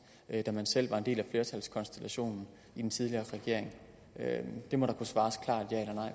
da man selv var en del af flertalskonstellationen i den tidligere regering det må der kunne svares klart